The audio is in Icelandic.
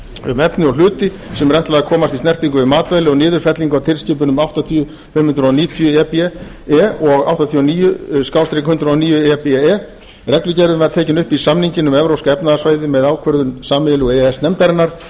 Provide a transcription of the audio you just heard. um efni og hluti sem er ætlað að komast í snertingu við matvæli og niðurfellingu á tilskipunum númer áttatíu fimm hundruð níutíu e b e og áttatíu og níu hundrað og níu e b e reglugerðin var tekin upp í samninginn um evrópska efnahagssvæðið með ákvörðun sameiginlegu e e s nefndarinnar